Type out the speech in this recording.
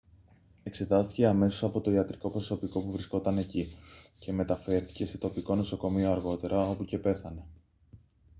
εξετάστηκε αμέσως από το ιατρικό προσωπικό που βρισκόταν εκεί και μεταφέρθηκε σε τοπικό νοσοκομείο αργότερα όπου και πέθανε